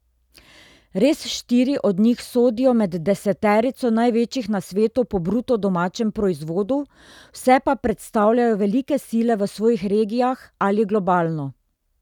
Res štiri od njih sodijo med deseterico največjih na svetu po bruto domačem proizvodu, vse pa predstavljajo velike sile v svojih regijah ali globalno.